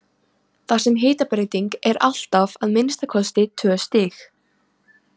Þar sem hitabreyting er alltaf að minnsta kosti tvö stig.